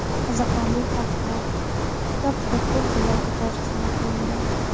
Qiziqarli faktlar - Kitob juda ko‘p tillarga tarjima qilingan.